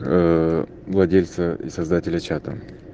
владельцы и создатели чата